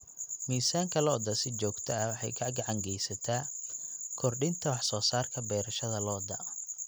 Miisaanka lo'da si joogto ah waxay gacan ka geysataa kordhinta wax soo saarka beerashada lo'da.